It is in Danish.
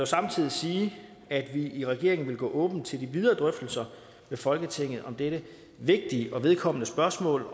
samtidig sige at vi i regeringen vil gå åbent til de videre drøftelser med folketinget om dette vigtige og vedkommende spørgsmål